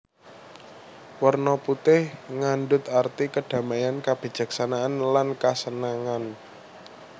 Werna putih ngandut arti kadamaian kabijaksanaan lan kasenangan